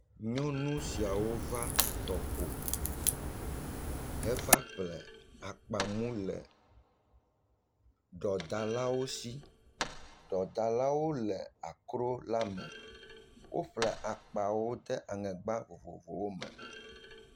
Nyonu siawo va tɔƒo heva ƒle akpa mu le ɖɔdalawo shi. Ɖɔdalawo le akro la me. Woƒle akpa wo de aŋegba vovovowo me.